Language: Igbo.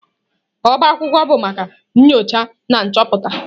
Ọbá akwụkwọ bụ maka nyocha na nchọpụta.